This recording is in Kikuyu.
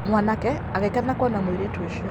mwanake agĩkena kwona mũirĩtu ũcio.